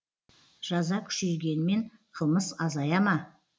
жаза күшейгенмен қылмыс азая ма